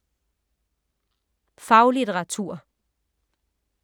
Faglitteratur